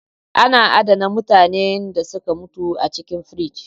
Ana adana mutanen da suka mutu a cikin frige